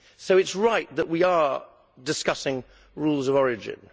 so it is right that we are discussing rules of origin.